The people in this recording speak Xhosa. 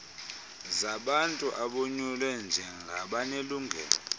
zabantu abonyulwe njengabanelungelo